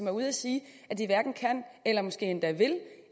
er ude at sige at de hverken kan eller måske endda vil